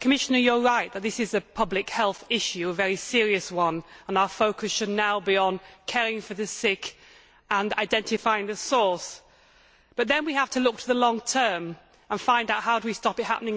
Commissioner, you are right that this is a public health issue, a very serious one, and our focus should now be on caring for the sick and identifying the source, but then we have to look to the long term and find out how we stop it happening again.